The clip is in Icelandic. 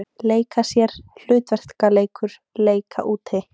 Leika sér- hlutverkaleikur- leika úti